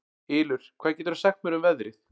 Ylur, hvað geturðu sagt mér um veðrið?